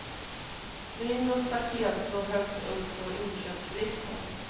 Grind och staket står högt på inköpslistan.